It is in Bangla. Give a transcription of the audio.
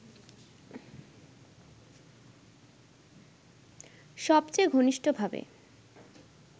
সবচেয়ে ঘনিষ্ঠভাবে